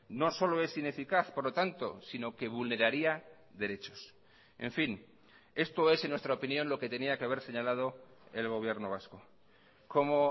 no solo es ineficaz por lo tanto sino que vulneraría derechos en fin esto es en nuestra opinión lo que tenía que haber señalado el gobierno vasco como